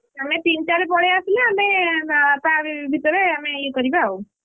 ତମେ ତିନିଟାରେ ପଳେଇ ଆସିଲେ ଆମେ ତା ଭିତରେ ଆମେ ଇଏ କରିବା ଆଉ,